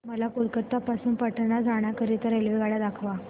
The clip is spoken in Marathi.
मला कोलकता पासून पटणा जाण्या करीता रेल्वेगाड्या दाखवा